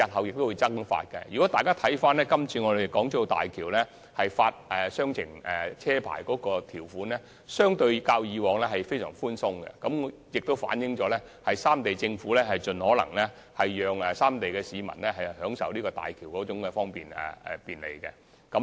如果大家參閱今次申請大橋兩地牌私家車配額的條款，便會發現較以往寬鬆很多，反映三地政府會盡可能讓三地市民享受大橋的便利。